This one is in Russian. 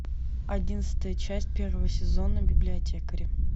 одиннадцатая часть первого сезона библиотекари